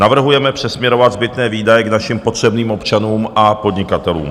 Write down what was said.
Navrhujeme přesměrovat zbytné výdaje k našim potřebným občanům a podnikatelům.